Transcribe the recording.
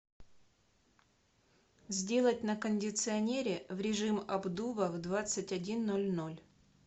сделать на кондиционере в режим обдува в двадцать один ноль ноль